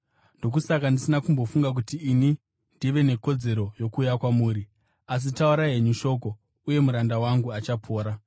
Ndokusaka ndisina kumbofunga kuti ini ndive nekodzero yokuuya kwamuri. Asi, taurai henyu shoko, uye muranda wangu achapora.